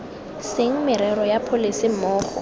seng merero ya pholese mmogo